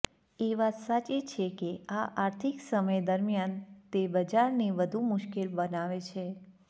એ વાત સાચી છે કે આ આર્થિક સમય દરમિયાન તે બજારને વધુ મુશ્કેલ બનાવે છે